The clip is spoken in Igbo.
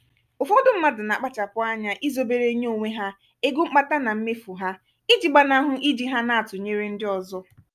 ụfọdụ mmadụ na-akpachapụ anya izobere nyé onwe ha ego mkpata na mmefu ha iji gbanahụ iji ha na-atụnyere ndị ọzọ.